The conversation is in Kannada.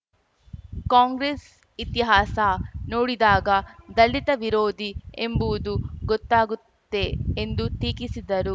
ಕಾಂಗ್ರೆಸ್‌ ಇತಿಹಾಸ ನೋಡಿದಾಗ ದಲಿತ ವಿರೋಧಿ ಎಂಬುವುದು ಗೊತ್ತಾಗುತ್ತೆ ಎಂದು ಟೀಕಿಸಿದರು